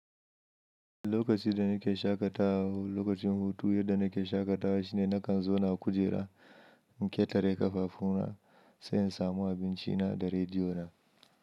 Lokaci da nake shaƙatawa, lokacin hutu, yadda nake shaƙatawa shine nakan zauna kujera, in ƙetare ƙafafu na sai in samu abinci na da rediyo na.